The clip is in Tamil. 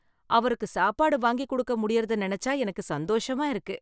அவருக்கு சாப்பாடு வாங்கிக் குடுக்க முடியுரத்தை நினைச்சா எனக்கு சந்தோஷமா இருக்கு.